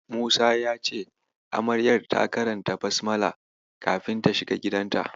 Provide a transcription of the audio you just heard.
Musa ya ce Amaryar ta karanta "Basmala" kafin ta shiga gidanta.